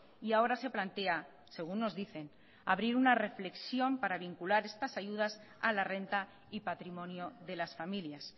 y ahora se plantea según nos dicen abrir una reflexión para vincular estas ayudas a la renta y patrimonio de las familias